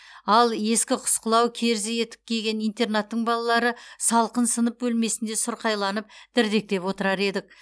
ал ескі құсқылау керзі етік киген интернаттың балалары салқын сынып бөлмесінде сұрқайланып дірдектеп отырар едік